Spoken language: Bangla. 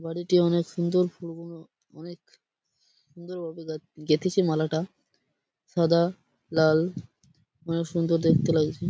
বাড়িটি অনেক সুন্দর ফুলগুনো অনেক সুন্দরভাবে গে গেঁথেছি মালাটা সাদা লাল অনেক সুন্দর দেখতে লাগছে।